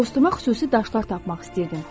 Dostuma xüsusi daşlar tapmaq istəyirdim.